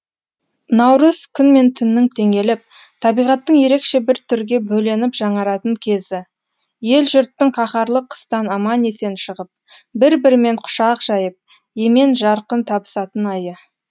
наурыз күн мен түннің теңеліп табиғаттың ерекше бір түрге бөленіп жаңаратын кезі ел жұрттың қаһарлы қыстан аман есен шығып бір бірімен құшақ жайып емен жарқын табысатын айы